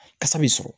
Kasa bɛ sɔrɔ